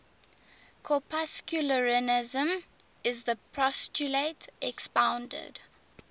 corpuscularianism is the postulate expounded